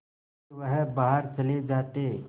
फिर वह बाहर चले जाते